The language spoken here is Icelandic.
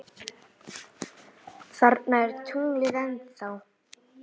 Þarna er tunglið ennþá.